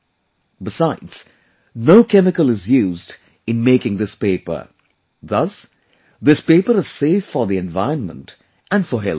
Besides, no chemical is used in making this paper, thus, this paper is safe for the environment and for health too